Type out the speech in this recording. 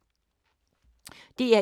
DR1